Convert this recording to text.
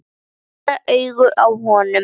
Allra augu á honum.